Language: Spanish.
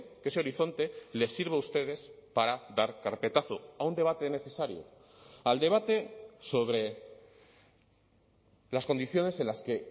que ese horizonte les sirva a ustedes para dar carpetazo a un debate necesario al debate sobre las condiciones en las que